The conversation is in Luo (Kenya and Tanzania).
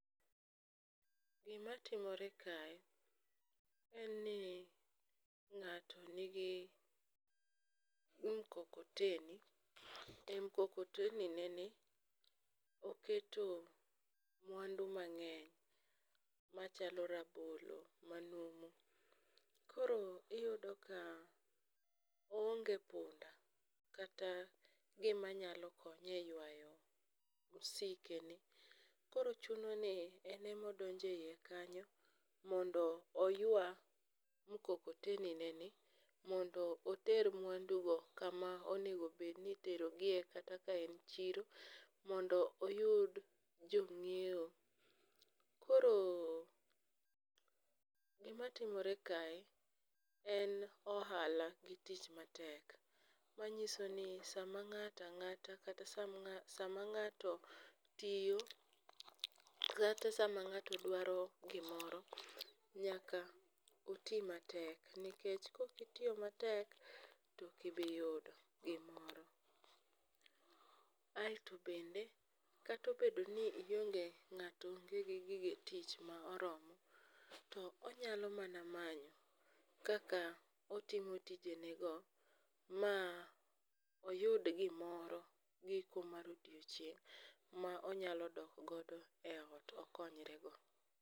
gimatimore kae, en ni ng'ato nigi mkokoteni e mkokoteni neni, oketo mwandu mang'eny machalo rabolo manumu, koro iyudo ka oonge punda kata gimanyalo konye e ywayo msikeni. koro chuno ni en ema odonjo e iye kanyo mondo oywa mkokoteni ne ni mondo oter mwandu go kama onego obed ni iterogie kata ka en chiro mondo oyud jong'iewo, koro gimatimore kae en ohala gi tich matek, manyiso ni sama ng'ato ang'ata kata sama ng'ato tiyo kata sama ng'ato dwaro gimoro ,nyaka oti matek nikech koki tiyo matek, to ok ibiyudo gimoro. aeto bende kata obedo ni ionge, ng'ato onge gi gige tich ma oromo, to onyalo mana manyo kaka otimo tijene go ma oyud gimoro, giko mar odiochieng' ma onyalo dok godo e ot okonyrego.